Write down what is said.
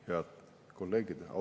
Head kolleegid!